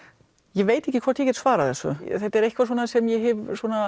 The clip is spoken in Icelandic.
ég veit ekki hvort ég get svarað þessu þetta er eitthvað sem ég hef